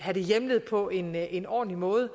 hjemlet på en en ordentlig måde